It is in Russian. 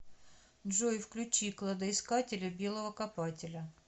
джой включи кладоискателя белого копателя